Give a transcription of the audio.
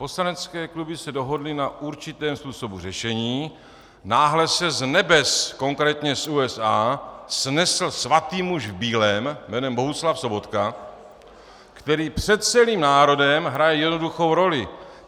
Poslanecké kluby se dohodly na určitém způsobu řešení, náhle se z nebes, konkrétně z USA, snesl svatý muž v bílém jménem Bohuslav Sobotka, který před celým národem hraje jednoduchou roli.